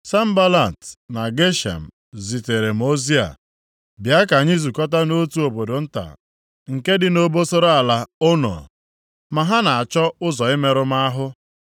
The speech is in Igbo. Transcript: Sanbalat na Geshem zitere m ozi a, “Bịa ka anyị zụkọta nʼotu obodo nta nke dị nʼobosara ala Ono.” Ma ha na-achọ ụzọ imerụ m ahụ.